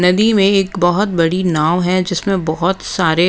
नदी में एक बहुत बड़ी नाव है जिसमें बहुत सारे--